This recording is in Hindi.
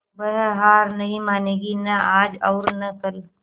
वह हार नहीं मानेगी न आज और न कल